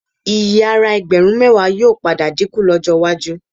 Iyì ara ẹgbẹ̀rún mẹ́wàá yóò padà dínkù lọ́jọ́ iwájú